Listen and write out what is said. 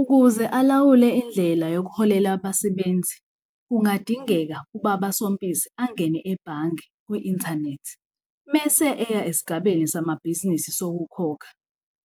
Ukuze alawule indlela yoku holela abasebenzi, kungadingeka ubaba Sompisi angene ebhange kwi-inthanethi mese eya esigabeni samabhizinisi sokukhokha,